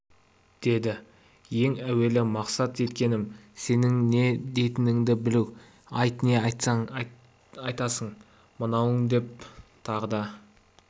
деді ең әуелі мақсат еткенім сенің не дейтініңді білу айт не айтасың мынауыңа деп тағы да